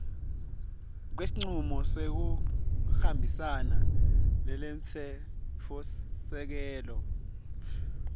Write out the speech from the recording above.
kwesincumo sekungahambisani nemtsetfosisekelo